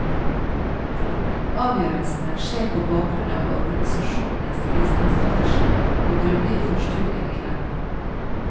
Avgjørelsene skjer på bakgrunn av organisasjonens bistandsstrategi og grundige forstudier i landet.